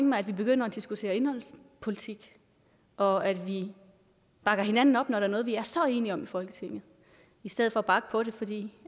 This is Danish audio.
mig at vi begynder at diskutere indholdspolitik og at vi bakker hinanden op når der er noget vi er så enige om i folketinget i stedet for at bakke på det fordi